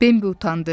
Bembə utandı.